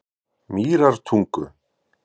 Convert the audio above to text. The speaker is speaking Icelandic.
Mýrartungu